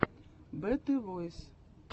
бэтэ войс